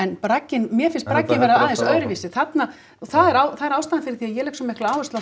en bragginn mér finnst hann vera aðeins öðruvísi þarna og það er ástæðan fyrir því að ég legg svona mikla áherslu á